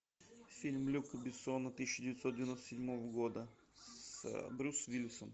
фильм люка бессона тысяча девятьсот девяносто седьмого года с брюс уиллисом